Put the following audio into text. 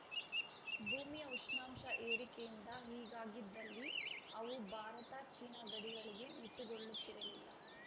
ಭೂಮಿಯ ಉಷ್ಣಾಂಶ ಏರಿಕೆಯಿಂದ ಹೀಗಾಗಿದ್ದಲ್ಲಿ ಅವು ಭಾರತಚೀನಾ ಗಡಿಗಳಿಗೆ ಮಿತಿಗೊಳ್ಳುತ್ತಿರಲಿಲ್ಲ